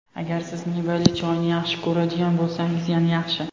Agar siz mevali choyni yaxshi ko‘radigan bo‘lsangiz yana yaxshi.